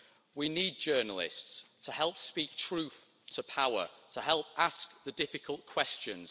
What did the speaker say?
We need journalists to help speak truth to power and to help ask the difficult questions.